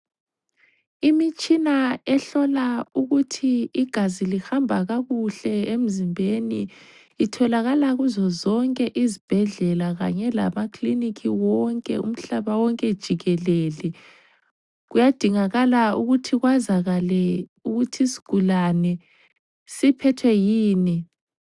Imitshina ehlola ukuba igazi lihamba kakuhle emzimbeni itholakala kuzozonke izibhedlela kanye lamaklinikhi wonke umhlaba wonke jikelele. Kuyadingakala ukuthi kwazakale ukuthi isigulane siphethwe yini.